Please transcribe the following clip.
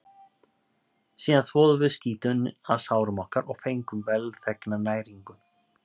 Síðan þvoðum við skítinn af sárum okkar og fengum velþegna næringu.